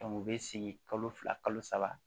u bɛ sigi kalo fila kalo saba